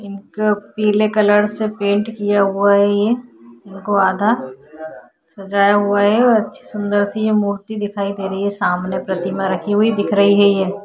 इनको पीले कलर से पेंट किया हुआ है ये। इनको आधा सजाया हुआ है और अच्छी सुंदर-सी मूर्ति दिखाई दे रही है। सामने प्रतिमा रखी हुई दिख रही है ये।